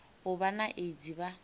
u vha na aids vha